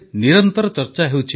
ମୋର ପ୍ରିୟ ଦେଶବାସୀଗଣ ନମସ୍କାର